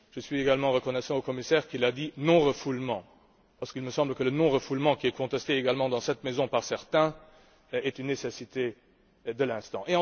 Je suis également reconnaissant au commissaire d'avoir parlé de non refoulement parce qu'il me semble que le non refoulement, qui est contesté également dans cette maison par certains, est une nécessité de l'instant.